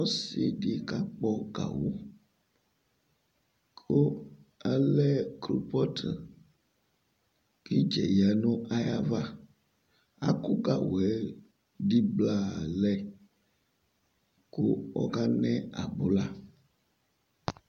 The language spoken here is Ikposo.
Ɔsɩ kakpɔ gawʋ kʋ alɛ klopɔtkʋ k'ɩtsɛ yǝ nʋ ayava Akʋ gawʋɛdɩɩ blaa lɛ kʋ ,ɔka nɛ abʋla